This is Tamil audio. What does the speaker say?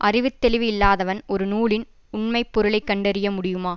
அறிவு தெளிவு இல்லாதவன் ஒரு நூலின் உண்மை பொருளை கண்டறிய முடியுமா